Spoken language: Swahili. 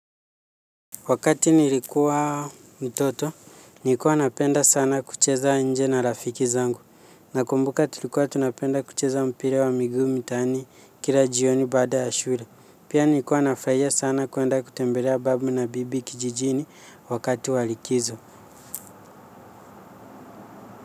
Wakati nilikuwa mtoto, nilikuwa napenda sana kucheza nje na rafiki zangu. Nakumbuka tulikuwa tunapenda kucheza mpira wa migu mitani kila jioni bada ya shule. Pia nilikuwa nafurahia sana kuenda kutembelea babu na bibi kijijini wakati wa likizo.